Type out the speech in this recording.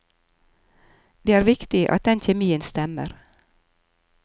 Det er viktig at den kjemien stemmer.